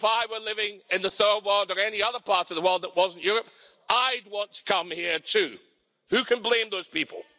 If I were living in the third world or any other part of the world that wasn't Europe, I'd want to come here too. Who can blame those people?